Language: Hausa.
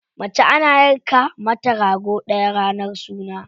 Mace ana yanka mata rago ɗaya ranar suna.